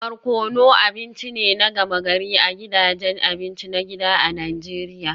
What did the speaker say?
Barkono abinci ne na gama-gari a gidajen abinci na gida a Najeriya